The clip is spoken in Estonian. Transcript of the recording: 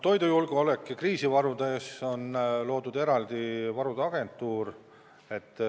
Toidujulgeoleku ja kriisivarude tagamiseks on loodud eraldi varude agentuur.